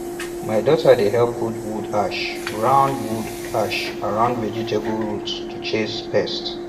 my daughter dey help put wood ash round wood ash round vegetable roots to chase pests